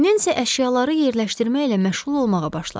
Nensi əşyaları yerləşdirməklə məşğul olmağa başladı.